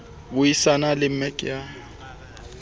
bui sana le mec ya